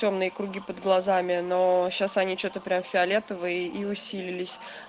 тёмные круги под глазами но сейчас они что-то прям фиолетовые и усилились